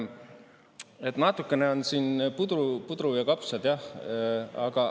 Et natukene on siin pudru ja kapsad, jah.